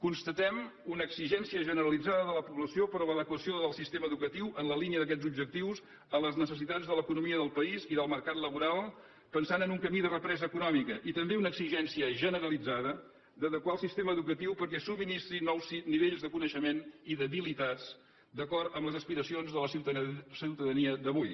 constatem una exigència generalitzada de la població per a l’adequació del sistema educatiu en la línia d’aquests objectius a les necessitats de l’economia del país i del mercat laboral pensant en un camí de represa econòmica i també una exigència generalitzada d’adequar el sistema educatiu perquè subministri nous nivells de coneixement i d’habilitats d’acord amb les aspiracions de la ciutadania d’avui